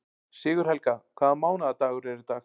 Sigurhelga, hvaða mánaðardagur er í dag?